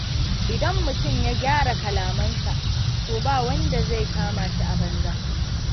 Idan mutum ya gyara kalamansa, to ba wanda zai kama shi a banza.